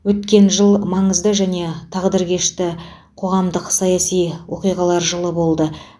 өткен жыл маңызды және тағдыршешті қоғамдық саяси оқиғалар жылы болды